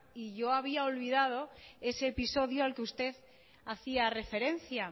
y yo había olvidado ese episodio al que usted hacía referencia